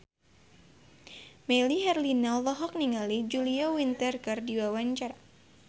Melly Herlina olohok ningali Julia Winter keur diwawancara